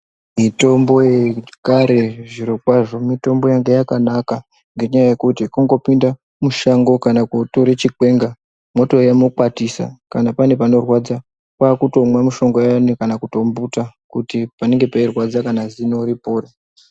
Mitombo yekare zvirokwazvo mitombo yanga yakanaka ngenyaya yekuti, kungopinda mushango, kana kootore chikwenga, mwotouya mwokwatisa kana pane panorwadza, kwaakutomwa mushonga uyani kana kutombuta, kuti panenge peirwadza kana zino ripore.